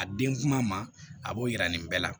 A den kuma ma a b'o yira nin bɛɛ la